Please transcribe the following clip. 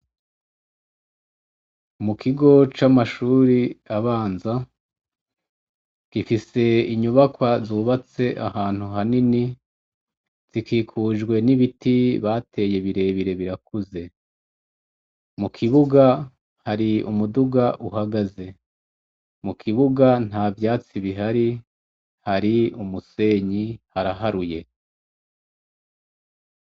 Mu kigo c' amashur' abanza gifis' inyubakwa zubats' ahantu hanini, zikikujwe n' ibiti bateye birebire birakuze, mu kibuga har'umudug' uhagaze, mu kibuga ntavyatsi bihari har' umusenyi haraharuye.